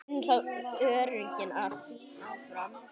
Þá erum við öruggir áfram.